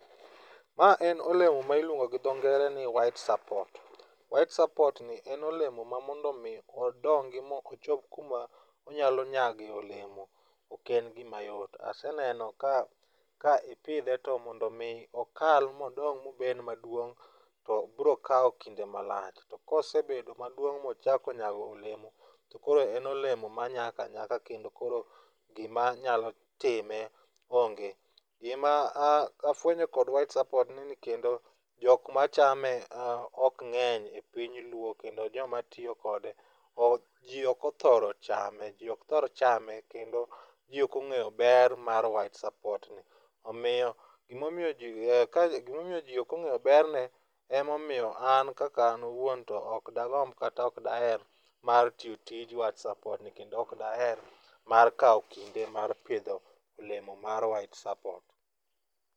Ma en olemo ma iluongo gi dho ngere ni white support. white support ni en olemo ma mondo omi odongi ma ochop kuma onyalo nyagoe olemo, ok en gima yot. Aseneno ka ipidhe to mondo omi okal modong mobed maduong' to bro kawo kinde malach, to kosebedo maduong' mochako nyago olemo to koro en olemo manyak anyaka kendo koro gimanyalo time onge. Gima afwenyo kod white support ni kendo jok machame ok ng'eny piny luo ,kendo jomatiyo kode . Ji ok othoro chame, ji ok thor chame kendo ji ok ong'eyo ber mar white support ni, omiyo gimomiyo ji ok ong'e berne, emomiyo an kaka an awuon to ok dagomb kata ok daher mar tiyo tij white support ni, kendo ok daher mar kawo kinde mar pidho olemo mar white support.